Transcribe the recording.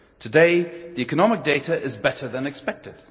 Today, the economic data is better than expected.